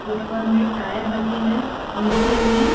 ऊपर में टायर रखे हैं नीचे में--